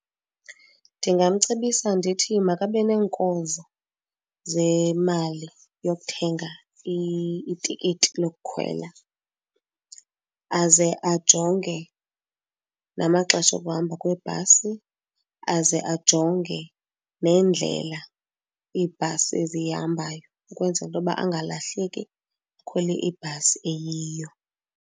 Ndingamcebisa ndithi makabe neenkozo zemali yokuthenga itikiti lokukhwela, aze ajonge namaxesha okuhamba kwebhasi, aze ajonge nendlela ibhasi eziyihambayo ukwenzela into yoba angalahleki akhwele ibhasi eyiyo.